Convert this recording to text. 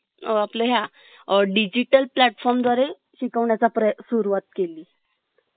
अ आपल्या ह्य digital platform द्वारे शिकवण्या चा प्रे सुरूवात केली